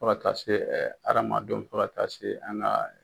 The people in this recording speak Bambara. Fɔ ka taa se hadamadenw fɔ ka taa se an ka